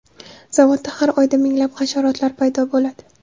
Zavodda har oyda minglab hasharotlar paydo bo‘ladi.